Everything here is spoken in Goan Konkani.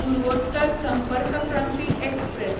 पुर्वोत्तर संपर्क क्रांती एक्सप्रॅस